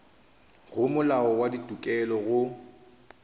go molao wa ditokelo go